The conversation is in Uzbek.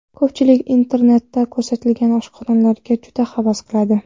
Ko‘pchilik internetda ko‘rsatilgan oshxonalarga juda havas qiladi.